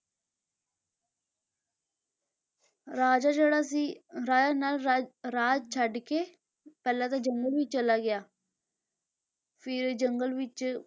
ਰਾਜਾ ਜਿਹੜਾ ਸੀ ਰਾਜਾ ਨਲ ਰਾਜ ਰਾਜ ਛੱਡ ਕੇ ਪਹਿਲਾਂ ਤਾਂ ਜੰਗਲ ਵਿੱਚ ਚਲਾ ਗਿਆ ਫਿਰ ਜੰਗਲ ਵਿੱਚ